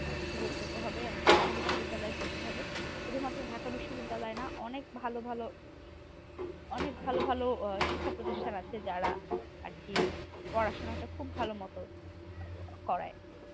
সুযোগ পেতে হবে। আমাকে ঢাকা বিশ্ববিদ্যালয় পড়তে হবে। শুধু মাত্র ঢাকা বিশ্ববিদ্যালয় না অনেক ভালো ভালো অনেক ভালো ভালো শিক্ষা প্রতিষ্ঠান আছে যারা আর কি পড়াশোনাটা খুব ভালো মতো করায়?